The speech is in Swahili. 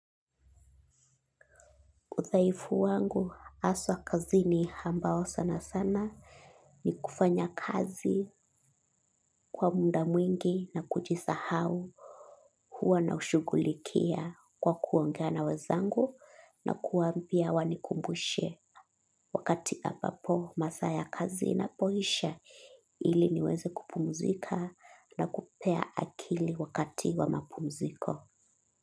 Udhaifu wangu haswa kazini ambao sana sana ni kufanya kazi kwa muda mwingi na kujisahau huwa naushughulikia kwa kuongea na wezangu na kuwaambia wanikumbushe. Wakati ambapo masaa ya kazi inapoisha ili niweze kupumuzika na kupea akili wakati wa mapumuziko.